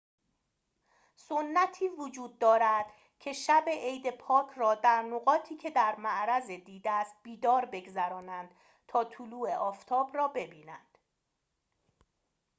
سنتی وجود دارد که شب عید پاک را در نقاطی که در معرض دید است بیدار بگذرانند تا طلوع آفتاب را ببینند